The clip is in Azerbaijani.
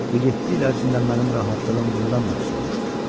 Bu yeddi il ərzində mənim rahatlığım bundan da pis olmuşdu.